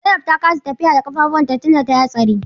Zainab ta kasa tafiya da ƙafafunta tunda tayi hatsarin.